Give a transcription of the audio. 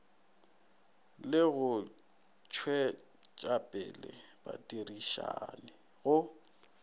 le go tšwetšapele badirišani go